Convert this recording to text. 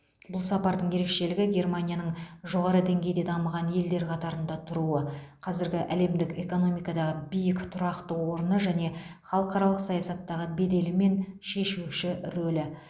бұл сапардың ерекшелігі германияның жоғары деңгейде дамыған елдер қатарында тұруы қазіргі әлемдік экономикадағы биік тұрақты орны және халықаралық саясаттағы беделі мен шешуші рөлі